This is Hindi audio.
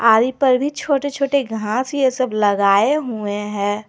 पर भी छोटे छोटे घास यह सब लगाए हुए हैं।